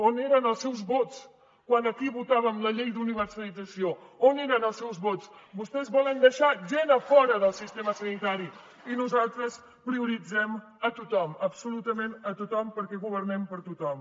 on eren els seus vots quan aquí votàvem la llei d’universalització on eren els seus vots vostès volen deixar gent a fora del sistema sanitari i nosaltres prioritzem a tothom absolutament a tothom perquè governem per a tothom